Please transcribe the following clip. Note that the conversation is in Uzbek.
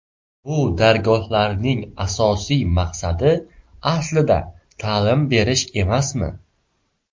Bu dargohlarning asosiy maqsadi aslida ta’lim berish emasmi?